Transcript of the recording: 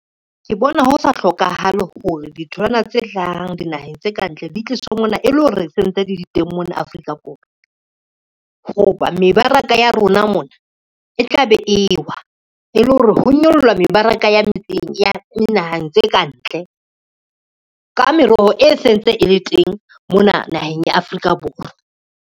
Ke bona ho sa hlokahale hore ditholwana tse hlahang dinaheng tse kantle di tlisa monana e le hore sentse di le teng mona Afrika Borwa. Ho ba mebaraka ya rona mona e tla be e wa, e le hore ho nyolla mebaraka ya metseng ya dinahang tse kantle ka meroho e sentse e le teng mona naheng ya Afrika Borwa.